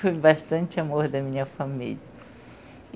Foi bastante amor da minha família.